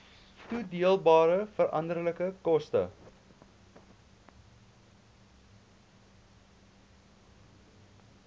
toedeelbare veranderlike koste